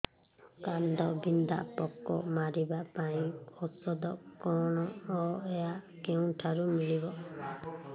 କାଣ୍ଡବିନ୍ଧା ପୋକ ମାରିବା ପାଇଁ ଔଷଧ କଣ ଓ ଏହା କେଉଁଠାରୁ ମିଳିବ